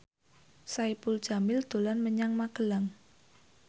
Saipul Jamil dolan menyang Magelang